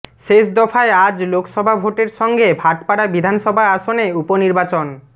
শেষ দফায় আজ লোকসভা ভোটের সঙ্গে ভাটপাড়া বিধানসভা আসনে উপ নির্বাচন